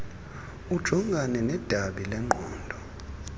ujongane nedabi lengqondo